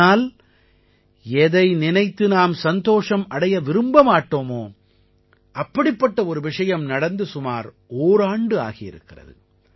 ஆனால் எதை நினைத்து நாம் சந்தோஷம் அடைய விரும்ப மாட்டோமோ அப்படிப்பட்ட ஒரு விஷயம் நடந்து சுமார் ஓராண்டாகி இருக்கிறது